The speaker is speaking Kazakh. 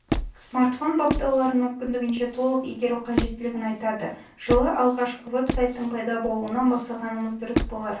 смартфон баптауларын мүмкіндігінше толық игеру қажеттілігін айтады жылы алғашқы веб-сайттың пайда болуынан бастағанымыз дұрыс болар